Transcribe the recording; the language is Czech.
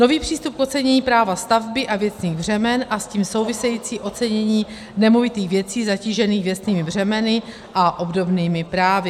nový přístup k ocenění práva stavby a věcných břemen a s tím související ocenění nemovitých věcí zatížených věcnými břemeny a obdobnými právy.